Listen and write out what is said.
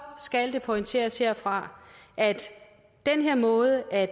skal det pointeres herfra at den her måde at